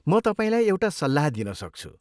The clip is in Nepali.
म तपाईँलाई एउटा सल्लाह दिन सक्छु।